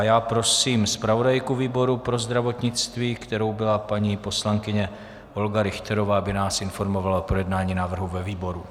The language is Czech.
A já prosím zpravodajku výboru pro zdravotnictví, kterou byla paní poslankyně Olga Richterová, aby nás informovala o projednání návrhu ve výboru.